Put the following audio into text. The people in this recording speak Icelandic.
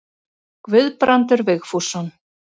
Guðbrandur Vigfússon.